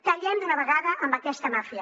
tallem d’una vegada amb aquesta màfia